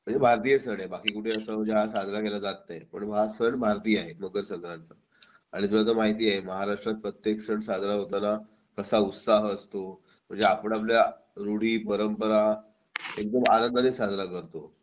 म्हणजे भारतीय सण आहे हा बाकी कुठे अस हा साजरा केला जात नाही पण हा सण भारतीय आहे मकर संक्रांत आणि तुला तर माहिती आहे महाराष्ट्रात प्रत्येक सण साजरा होताना कसा उत्साह असतो म्हणजे आपण आपल्या रूढी परंपरा एकदम आनंदाने साजरा करतो